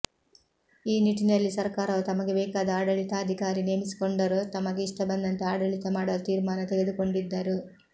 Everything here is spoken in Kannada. ಈ ನಿಟಿನಲ್ಲಿ ಸರ್ಕಾರವು ತಮಗೆ ಬೇಕಾದ ಆಡಳಿತಾಧಿಕಾರಿ ನೇಮಿಸಿಕೊಂಡರು ತಮಗೆ ಇಷ್ಟಬಂದಂತೆ ಆಡಳಿತ ಮಾಡಲು ತೀರ್ಮಾನ ತೆಗೆದುಕೊಂಡಿದ್ದರು